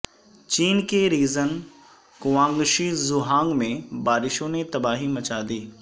چین کے region Guangxi Zhuang میں بارشوں نے تباہی مچا دی